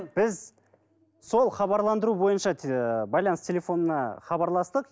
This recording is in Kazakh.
біз сол хабарландыру бойынша ыыы байланыс телефонына хабарластық